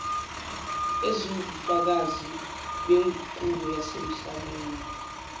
eziwubufakazi beguquko yasemhlabeni